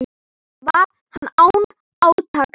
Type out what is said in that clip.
Var hann án átaka.